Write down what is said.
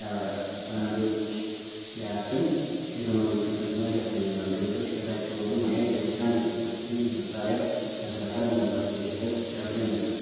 ያበራል። ሰነዶችን ሲያትም የቴክኖሎጂውን ፍጥነት ያስደንቃል። ገጾች ከታች ሲወጡ ማየት ደስታን ይፈጥራል። ይህ መሳሪያ ለሥራ ቀላል መፍትሔ ሲሰጥ ያስደንቃል!